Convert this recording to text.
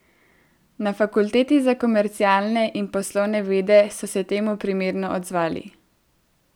Na Fakulteti za komercialne in poslovne vede so se temu primerno odzvali.